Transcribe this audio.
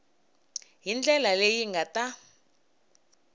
hi ndlela leyi nga ta